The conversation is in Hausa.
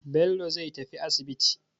Bello zai tafi asibiti.